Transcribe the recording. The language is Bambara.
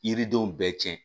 Yiridenw bɛɛ cɛn